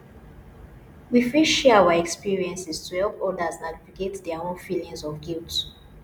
we fit share our experiences to help others navigate their own feelings of guilt